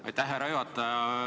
Aitäh, härra juhataja!